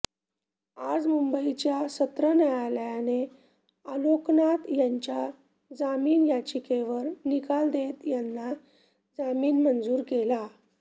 आज मुंबईच्या सत्र न्यायालयाने आलोकनाथ यांच्या जामीन याचिकेवर निकाल देत त्यांना जामीन मंजूर केला